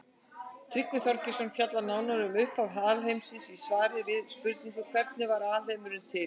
Tryggvi Þorgeirsson fjallar nánar um upphaf alheimsins í svari við spurningunni Hvernig varð alheimurinn til?